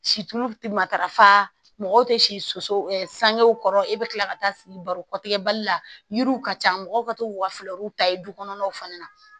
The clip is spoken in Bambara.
Situlu tɛ matarafa mɔgɔw tɛ si soso sangew kɔrɔ e bɛ tila ka taa baro kɔtigɛ bali la yiriw ka ca mɔgɔw ka to ka fɛrɛw ta ye du kɔnɔnaw fana na